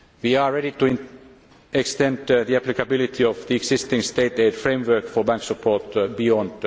aid. We are ready to extend the applicability of the existing state aid framework for bank support beyond